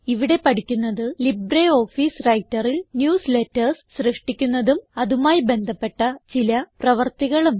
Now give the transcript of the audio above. ഇവിടെ പഠിക്കുന്നത് ലിബ്രിയോഫീസ് Writerൽ ന്യൂസ്ലേറ്റർസ് സൃഷ്ടിക്കുന്നതും അതുമായി ബന്ധപ്പെട്ട ചില പ്രവർത്തികളും